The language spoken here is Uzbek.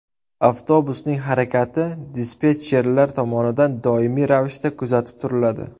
Avtobusning harakati dispetcherlar tomonidan doimiy ravishda kuzatib turiladi.